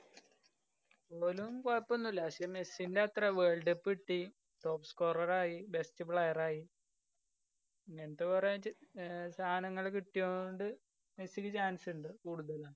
ഓനും കുഴപ്പം ഒന്നുമില്ല. പക്ഷെ, മെസ്സിന്‍റെ അത്രേ world cup കിട്ടി. Top scorer ആയി, best player ആയി. എന്ത് പറഞ്ഞു വെച്ച് സാധനങ്ങള് കിട്ടിയോണ്ട് മെസ്സിക്ക് chance ഉണ്ട് കൂടുതലും.